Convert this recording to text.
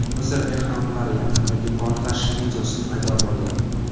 Misr ehromlari yaqinidagi portlash videosi paydo bo‘ldi .